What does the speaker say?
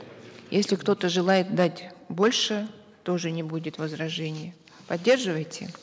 если кто то желает дать больше тоже не будет возражений поддерживаете